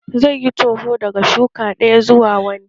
Zai yi toho daga shuka ɗaya zuwa wani